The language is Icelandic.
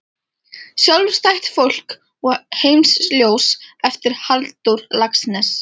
Sjálfstætt fólk og Heimsljós eftir Halldór Laxness.